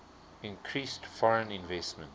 increased foreign investment